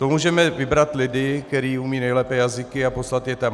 To můžeme vybrat lidi, kteří umí nejlépe jazyky, a poslat je tam.